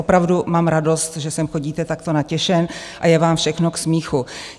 Opravdu mám radost, že sem chodíte takto natěšen a je vám všechno k smíchu.